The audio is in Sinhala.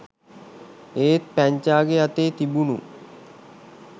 ඒත් පැංචා‍ගේ අතේ තිබුණු